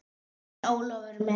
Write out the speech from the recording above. En Ólafur minn.